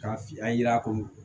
K'a fiyɛ a yera a ko